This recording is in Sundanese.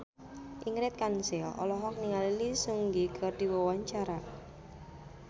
Ingrid Kansil olohok ningali Lee Seung Gi keur diwawancara